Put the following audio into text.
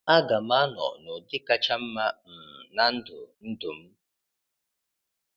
Aga m anọ n'ụdị kacha mma um na ndụ ndụ m.